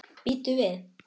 Bíddu við.